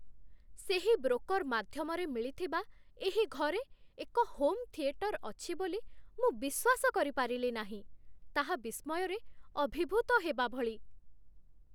ସେହି ବ୍ରୋକର୍ ମାଧ୍ୟମରେ ମିଳିଥିବା ଏହି ଘରେ ଏକ ହୋମ୍ ଥିଏଟର୍ ଅଛି ବୋଲି ମୁଁ ବିଶ୍ୱାସ କରିପାରିଲି ନାହିଁ। ତାହା ବିସ୍ମୟରେ ଅଭିଭୂତ ହେବା ଭଳି!